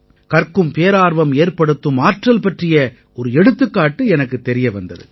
கற்கும் பேரார்வம் ஏற்படுத்தும் ஆற்றல் பற்றிய ஒரு எடுத்துக்காட்டு எனக்குத் தெரிய வந்தது